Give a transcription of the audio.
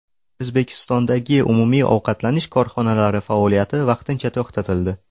O‘zbekistondagi umumiy ovqatlanish korxonalari faoliyati vaqtincha to‘xtatildi.